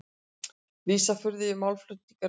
Lýsa furðu yfir málflutningi ráðherra